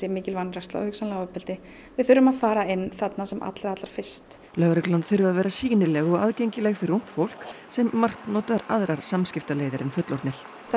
mikil vanræksla og hugsanlega ofbeldi við þurfum að fara inn þarna sem allra allra fyrst lögreglan þurfi að vera sýnileg og aðgengileg fyrir ungt fólk sem margt notar aðrar samskiptaleiðir en fullorðnir það